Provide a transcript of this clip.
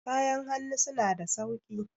kayan hannu suna da sauki